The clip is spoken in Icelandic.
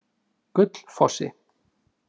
Gullfossi